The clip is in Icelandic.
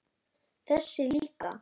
Þessi líka